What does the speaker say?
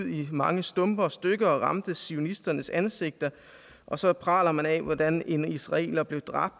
i mange stumper og stykker og ramte zionisternes ansigter og så praler man af hvordan en israeler blev dræbt